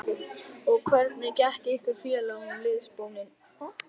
Og hvernig gekk ykkur félögum liðsbónin?